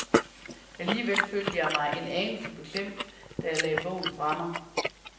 Alligevel følte jeg mig en anelse beklemt, da jeg lagde bogen fra mig.